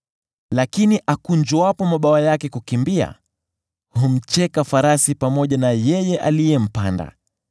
Lakini akunjuapo mabawa yake kukimbia, humcheka farasi pamoja na yeye aliyempanda.